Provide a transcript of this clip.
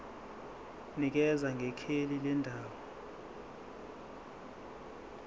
nikeza ngekheli lendawo